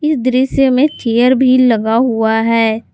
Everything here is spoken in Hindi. इस दृश्य में चेयर भी लगा हुआ है।